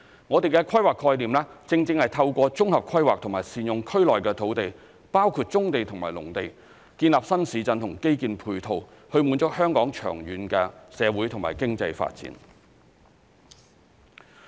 我們的規劃概念，正正是透過綜合規劃及善用區內的土地，包括棕地和農地等，建立新市鎮和基建配套，以滿足香港長遠的社會和經濟發展。